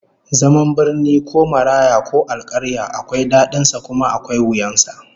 Zaman birni ko maraya ko alkarya akwai dadin sa kuma akwai wuyan sa